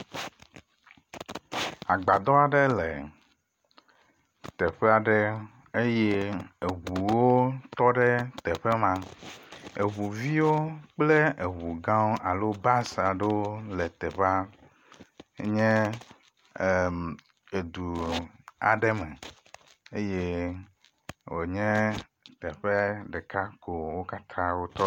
Agbadɔ aɖe le teƒe aɖe eye eŋuwo tɔ ɖe teƒe ma. Eŋu viwo kple eŋu gãwo alo bus aɖewo le teƒea nye edu aɖe me eye wonye teƒe ɖeka ko wo katã wotɔ ɖo.